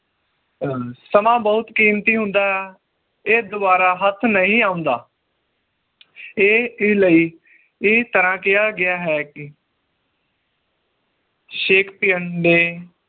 ਅਹ ਸਮਾਂ ਬਹੁਤ ਕੀਮਤੀ ਹੁੰਦਾ ਇਹ ਦੋਬਾਰਾ ਹਥ੍ਹ ਨਹੀਂ ਆਉਂਦਾ ਇਹ ਦੇ ਲਈ ਇਹ ਤਰਾਹ ਕਿਹਾ ਗਿਆ ਹੈ ਕਿ shakespeare ਨੇ